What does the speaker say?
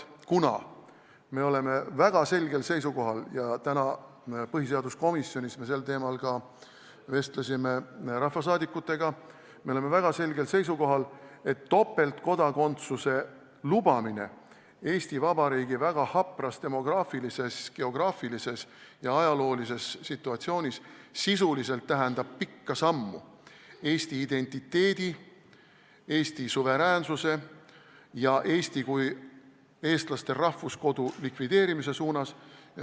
Me oleme väga selgel seisukohal – täna me põhiseaduskomisjonis vestlesime sel teemal ka rahvasaadikutega –, et topeltkodakondsuse lubamine Eesti Vabariigi väga hapras demograafilises, geograafilises ja ajaloolises situatsioonis sisuliselt tähendab pikka sammu Eesti identiteedi, Eesti suveräänsuse ja Eesti kui eestlaste rahvuskodu likvideerimise suunas.